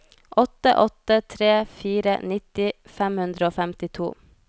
åtte åtte tre fire nitti fem hundre og femtito